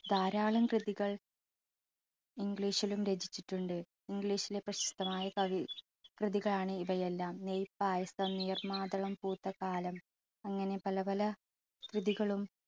ധാരാളം കൃതികൾ english ലും രചിച്ചിട്ടുണ്ട്. english ലെ പ്രശസ്തമായ കവി കൃതികളാണ് ഇവയെല്ലാം നെയ്യ് പായസം, നീർമാതളം പൂത്ത കാലം അങ്ങനെ പല പല കൃതികളും